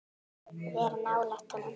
Vera nálægt honum?